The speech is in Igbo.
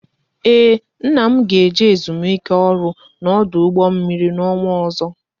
Ee, nna m ga eje ezumike ọrụ n'ọdụ mmiri n'ọnwa ọzọ